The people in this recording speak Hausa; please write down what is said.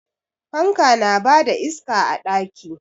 Fanka na ba da iska a ɗaki.